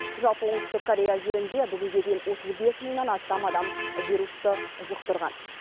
жалпы оңтүстік корея елінде бүгінге дейін отыз бес мыңнан астам адам вирусты жұқтырған